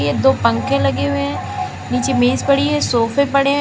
दो पंखे लगे हुए हैं नीचे मेज पड़ी है सोफे पड़े है।